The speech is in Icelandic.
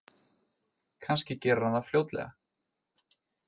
Kannski gerir hann það fljótlega.